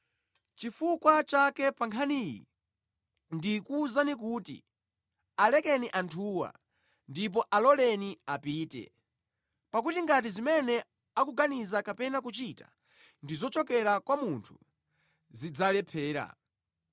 Chifukwa chake pa nkhani iyi ndikuwuzani kuti, alekeni anthuwa ndipo aloleni apite! Pakuti ngati zimene akuganiza kapena kuchita ndi zochokera kwa munthu zidzalephera.